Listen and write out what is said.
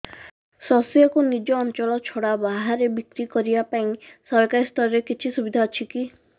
ଶସ୍ୟକୁ ନିଜ ଅଞ୍ଚଳ ଛଡା ବାହାରେ ବିକ୍ରି କରିବା ପାଇଁ ସରକାରୀ ସ୍ତରରେ କିଛି ସୁବିଧା ଅଛି କି